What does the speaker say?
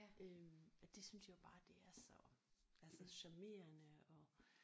Øh og det synes jeg jo bare det er så altså charmerende og